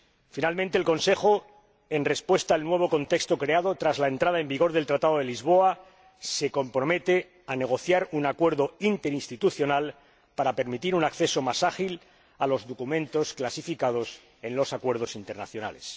Por último, el Consejo, en respuesta al nuevo contexto creado tras la entrada en vigor del Tratado de Lisboa, se compromete a negociar un acuerdo interinstitucional para permitir un acceso más ágil a los documentos clasificados en los acuerdos internacionales.